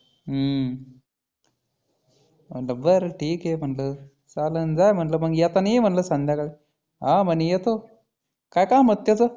हम्म म्हटलं बरं ठिक आहे म्हटलं. चालनं जाय म्हटलं येतानी ये म्हटलं संध्याकाळी. हा म्हणी येतो. काय काम होतं त्याचं?